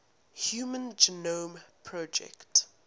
human genome project